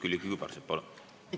Külliki Kübarsepp, palun!